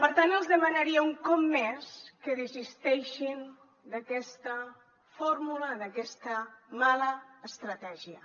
per tant els demanaria un cop més que desisteixin d’aquesta fórmula d’aquesta mala estratègia